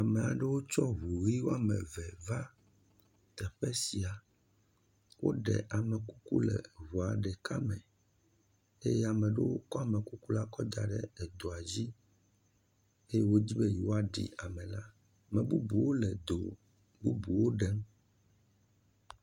amaɖewo ko ʋuyi wɔmeve va teƒe sia woɖe amekuku le ʋua ɖeka me ye ameɖewo kɔ amekuku la kɔ daɖe edoɔ dzi eye wó dzibe yoɔɖi amɛ la me bubuwo le do bubuwo ɖem